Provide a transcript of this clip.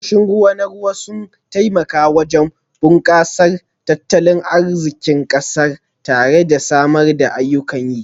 Tashoshin ruwa na ruwa sun taimaka wajen bunkasar tattalin arzikin kasar tare da samar da ayyukan yi